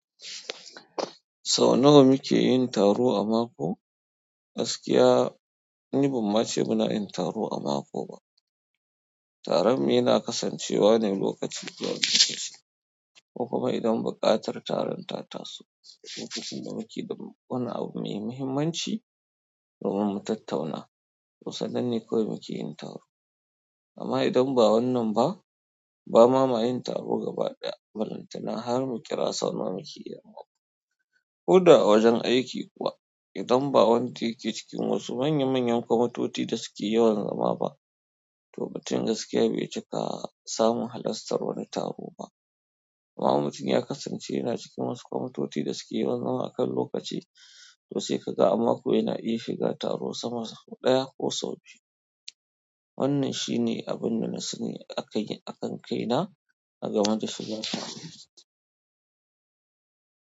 Sau nawa muke yin taro a mako? Gaskiya ni bamma ce muna yin taro a mako ba. Taron mu yana kasancewa ne lokacin zuwan rikici, kokuma idan buƙatar taron ta taso, lokacin da muke da wani abu mai muhimmanci domin mu tattauna, toh sannan ne kawai muke yin taro. Amma idan ba wannan ba, ba ma ma yin taro gaba ɗaya balantana har mu kira sau nawa mukeyi amako. Koda a wajen aiki kuwa, idan ba wanda yake cikin wasu manya manyan kwamutoci da suke yawan zama ba, toh mutum gaskiya bai cika samu halastar wani taro ba. Amma mutum ya kasance yana cikin wasu kwamutoci da suke yawan zama akan lokaci, to sai ka ga a mako yana iya shiga taro sama da sau ɗaya ko sau biyu. Wannan shi ne abun da na sani akai ken akan kai na, agama da shiga taro.